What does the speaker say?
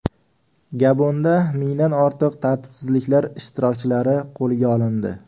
Gabonda mingdan ortiq tartibsizliklar ishtirokchilari qo‘lga olindi.